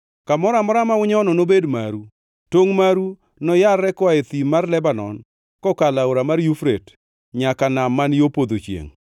Kamoro amora ma unyono, nobed maru, tongʼ maru noyarre koa e thim mar Lebanon kokalo Aora mar Yufrate nyaka nam man yo podho chiengʼ.